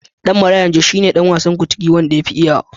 Ɗan Marayan Jos shi ne ɗan wasan Kuntigi wanda yafi iyawa.